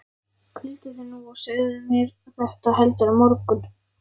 Hvíldu þig nú og segðu mér þetta heldur á morgun.